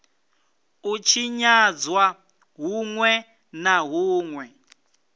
u tshinyadzwa hunwe na hunwe